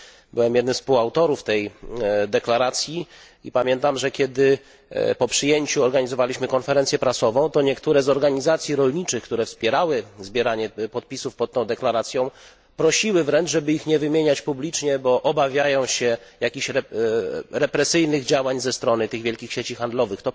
Byłem jednym z współautorów tej deklaracji i pamiętam, że kiedy po jej przyjęciu organizowaliśmy konferencję prasową, to niektóre z organizacji rolniczych, które wspierały zbieranie podpisów pod tą deklaracją, prosiły wręcz, żeby ich nie wymieniać publicznie, bo obawiają się jakichś represyjnych działań ze strony tych wielkich sieci handlowych.